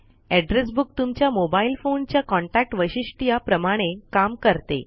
address book तुमच्या mobile phone च्या contact वैशिष्ट्या प्रमाणे काम करते